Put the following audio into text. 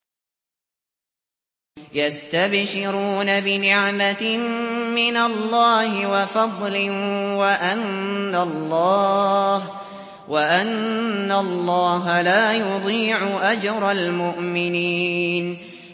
۞ يَسْتَبْشِرُونَ بِنِعْمَةٍ مِّنَ اللَّهِ وَفَضْلٍ وَأَنَّ اللَّهَ لَا يُضِيعُ أَجْرَ الْمُؤْمِنِينَ